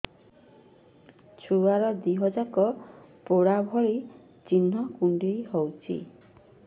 ଛୁଆର ଦିହ ଯାକ ପୋଡା ଭଳି ଚି଼ହ୍ନ କୁଣ୍ଡେଇ ହଉଛି